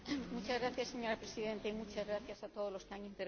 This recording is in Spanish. Señora Presidenta, muchas gracias a todos los que han intervenido.